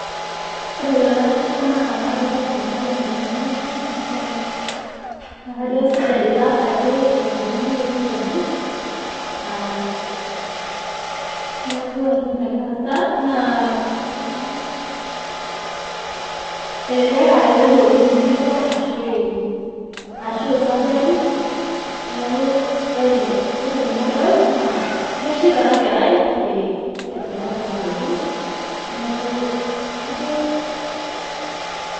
Ore tenapisha naa kadolta enkerai mlemavu naa kajo kesurgery itaasaki etudungoyioki enkeju neku ina nagira aasa naa elelek aa ketoiwuoki etiu nejia ashu surgery neku ore tenadol naa keshipa enakera kake meeta enkeju neku kajo .